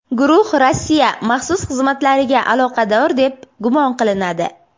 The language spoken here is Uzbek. Guruh Rossiya maxsus xizmatlariga aloqador deb gumon qilinadi.